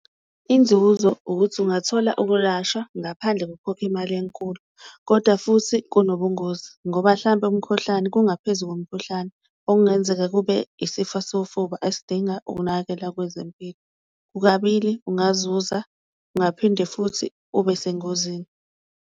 Inzuzo ukuthi ungathola ukulashwa ngaphandle kokukhokha imali enkulu, koda futhi kunobungozi ngoba hlampe umkhohlane, kungaphezu komkhuhlane okungenzeka kube isifa sofuba esidinga ukunakekela kwezempilo. Kukabili ungazuza, ungaphinde futhi ube sengozini.